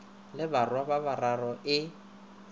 le barwa ba bararo e